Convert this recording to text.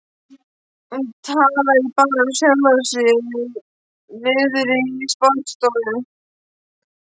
Hún talaði bara við sjálfa sig niðri í sparistofu.